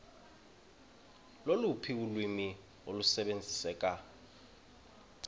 loluphi ulwimi olusebenziseka